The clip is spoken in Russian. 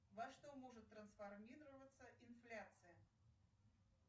во что может трансформироваться инфляция